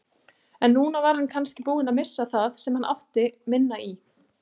En núna var hann kannski búinn að missa það sem hann átti minna í.